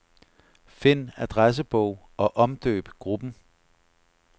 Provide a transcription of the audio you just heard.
Find adressebog og omdøb gruppen.